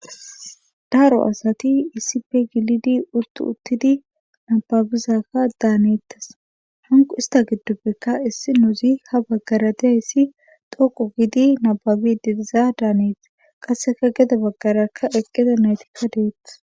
daro asati iisipe gilidi uttu uttidi nababizakka daanettas hanqu ista giddoppeka issi nouzi ha baggara diayssi dhoqo gidi nababi diriza daaneet qasseka geda baggarakka eqqeda naytikka deeth